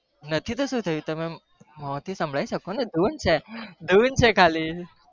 નથી તો સુ થયું મો થી સંભળાવી શકો ને ધૂન છે